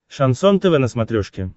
шансон тв на смотрешке